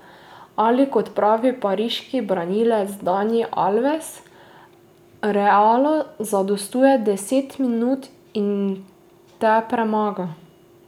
Ali kot pravi pariški branilec Dani Alves: "Realu zadostuje deset minut in te premaga.